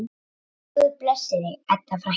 Guð blessi þig, Edda frænka.